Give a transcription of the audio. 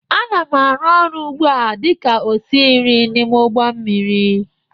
Ana m arụ ọrụ ugbu a dị ka osi nri n'ime ụgbọ mmiri